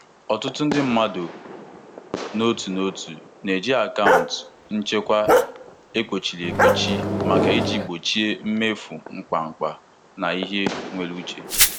Ọtụtụ ndị mmadụ n'otu n'otu na-eji akaụntụ nchekwa ekpochiri ekpochi maka iji gbochie imefu mkpamkpa na ihe nwere uche.